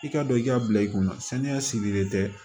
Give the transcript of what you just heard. I ka don i ka bila i kunna saniya sigilen tɛ